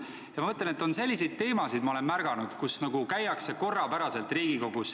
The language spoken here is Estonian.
Ma olen märganud, et on selliseid teemasid, mida arutatakse Riigikogus korrapäraselt.